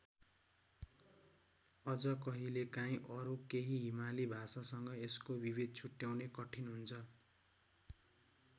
अझ कहिलेकाहिँ अरू केही हिमाली भाषासँग यसको विभेद छुट्याउनै कठिन हुन्छ।